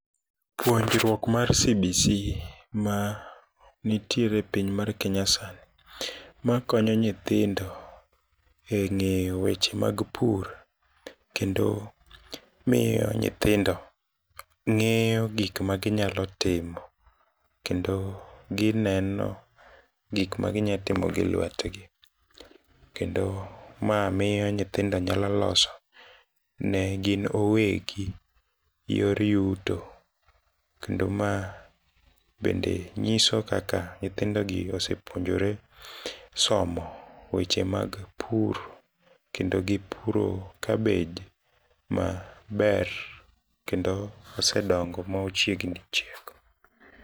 Puonjruok mar CBC manitiere piny mar Kenya sani makonyo nyithindo e ng'eyo weche mag pur, kendo miyo nyithindo ng'eyo gikma ginyalo timo, kendo gineno gikma ginyatimo gi lwetgi, kendo mamiyo nyithindo nyalo loso negin owegi yor yuto, kendo ma bende nyiso kaka nyithindogi osepuonjore somo weche mag pur, kendo gipuro kabej maber, kendo oseedongo mochiegni chiek.